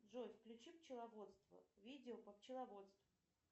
джой включи пчеловодство видео по пчеловодству